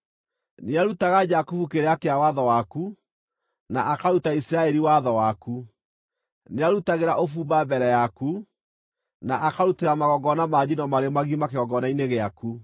Nĩarutaga Jakubu kĩrĩra kĩa watho waku, na akaruta Isiraeli watho waku. Nĩarutagĩra ũbumba mbere yaku, na akarutĩra magongona ma njino marĩ magima kĩgongona-inĩ gĩaku.